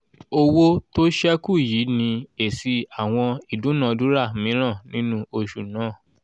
owó tó sẹ́kù yìí ni èsì àwọn ìdúnàdúrà míràn nínú oṣù náà